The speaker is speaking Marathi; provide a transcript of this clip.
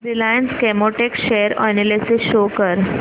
Reliance Chemotex share analysis show कर